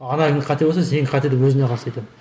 қате болса сенікі қате деп өзіне қарсы айтамын